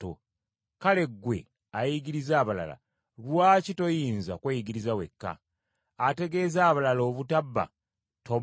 Kale ggwe ayigiriza abalala, lwaki toyinza kweyigiriza wekka? Ategeeza abalala obutabba, tobba?